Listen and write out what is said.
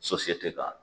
k'a